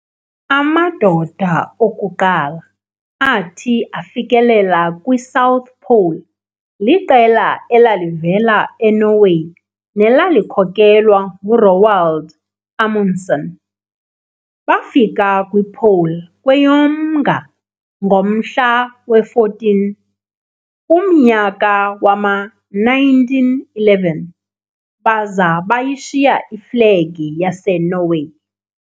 Amadoda okuqala athi afikelela kwi-'South Pole' liqela elalivela e-Norway nelalikhokhelwa ngu-Roald Amundsen. Bafika kwi'Pole' kweyoMnga ngomhla we-14, kumnyaka wama-1911, baza bayishiya iflegi yaseNorway.